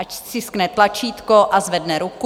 Ať stiskne tlačítko a zvedne ruku?